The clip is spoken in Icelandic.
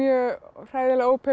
hræðilega